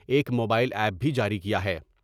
ایک mobile app بھی جاری کیا ہے ۔